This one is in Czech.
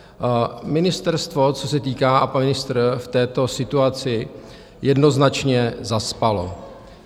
Ministerstvo, co se týká, a pan ministr, v této situaci jednoznačně zaspalo.